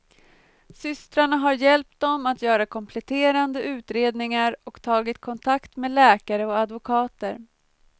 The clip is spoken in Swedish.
Systrarna har hjälpt dem att göra kompletterande utredningar och tagit kontakt med läkare och advokater.